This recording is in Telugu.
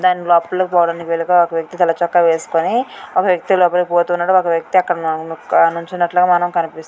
దాని లోపలకి పోవడానికి వీలుగా ఒక వ్యక్తి తెల్ల చొక్కా వేసుకొని ఒక వ్యక్తి లోపలికి పోతున్నడు. ఒక వ్యక్తి నిల్చున్నట్లుగా మనకు కనిపిస్తు--